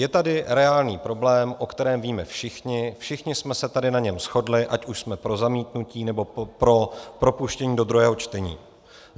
Je tady reálný problém, o kterém víme všichni, všichni jsme se tady na něm shodli, ať už jsme pro zamítnutí, nebo pro propuštění do druhého čtení.